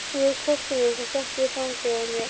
Hún tók hvolpinn upp og setti í fangið á